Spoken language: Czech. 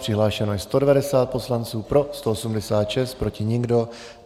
Přihlášeno je 190 poslanců, pro 186, proti nikdo.